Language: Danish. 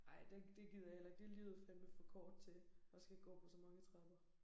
Ej det det gider jeg heller ikke det livet fadnme for kort til at skal gå på så mange trapper